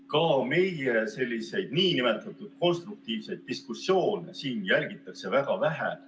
Ka meie nn konstruktiivseid diskussioone jälgitakse väga vähe.